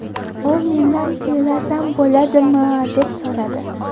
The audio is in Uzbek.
U mendan kuylasam bo‘ladimi, deb so‘radi.